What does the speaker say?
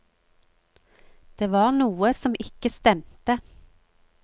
Det var noe som ikke stemte.